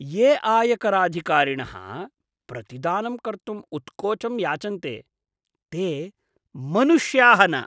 ये आयकराधिकारिणः प्रतिदानं कर्तुम् उत्कोचं याचन्ते ते मनुष्याः न।